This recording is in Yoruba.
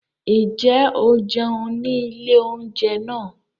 Ǹjẹ́ o jẹun ní ilé oúnjẹ náà?